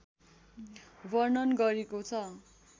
वर्णन गरेको छ